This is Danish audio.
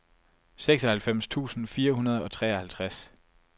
seksoghalvfems tusind fire hundrede og treoghalvtreds